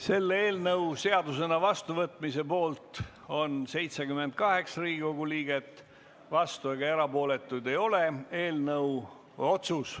Selle eelnõu seadusena vastuvõtmise poolt on 78 Riigikogu liiget, vastuolijaid ega erapooletuid ei ole.